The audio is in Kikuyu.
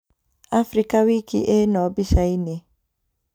Afrika wiki ĩno mbicainĩ